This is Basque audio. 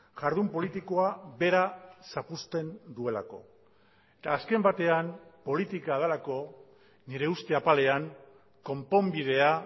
jardun politikoa bera zapuzten duelako eta azken batean politika delako nire uste apalean konponbidea